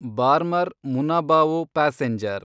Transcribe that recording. Barmer Munabao passenger